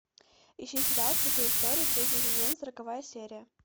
ищи сериал цикл истории третий сезон сороковая серия